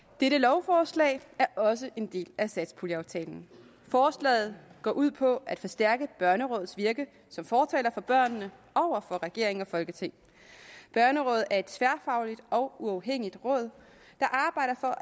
dette lovforslag er også en del af satspuljeaftalen forslaget går ud på at forstærke børnerådets virke som fortalere for børnene over for regering og folketing børnerådet er et tværfagligt og uafhængigt råd der arbejder for